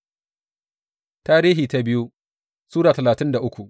biyu Tarihi Sura talatin da uku